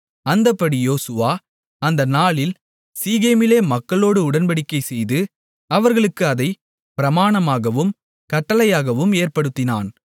அந்தப்படி யோசுவா அந்த நாளில் சீகேமிலே மக்களோடு உடன்படிக்கைசெய்து அவர்களுக்கு அதைப் பிரமாணமாகவும் கட்டளையாகவும் ஏற்படுத்தினான்